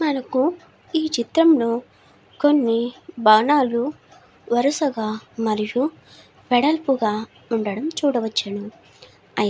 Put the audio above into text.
మనుకు ఈ చిత్రములో కొన్ని భవనాలు వరుసగా మరివు వెడలపుగా ఉండడం చూడవచ్చును. అయ్యతే --